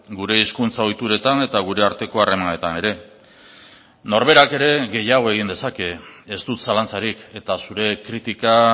gure hizkuntza ohituretan eta gure arteko harremanetan ere norberak ere gehiago egin dezake ez dut zalantzarik eta zure kritika